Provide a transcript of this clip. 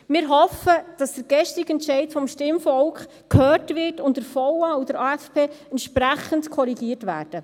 Wir hoffen, dass der gestrige Entscheid des Stimmvolks gehört wird und der VA und der AFP entsprechend korrigiert werden.